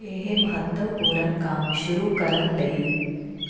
ਇਹ ਮਹੱਤਵਪੂਰਨ ਕੰਮ ਸ਼ੁਰੂ ਕਰਨ ਲਈ